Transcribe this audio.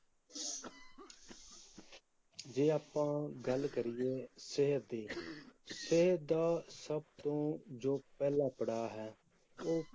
ਜੇ ਆਪਾਂ ਗੱਲ ਕਰੀਏ ਸਿਹਤ ਦੀ, ਸਿਹਤ ਦਾ ਸਭ ਤੋਂ ਜੋ ਪਹਿਲਾ ਪੜਾਅ ਹੈ ਉਹ